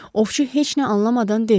Ovçu heç nə anlamadan dedi.